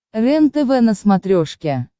рентв на смотрешке